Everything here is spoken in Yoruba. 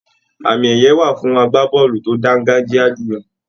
Àmì ẹyẹ wà fún àgbàbọọlu tó dangajiya julọ.